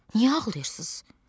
Niyə ağlayırsız?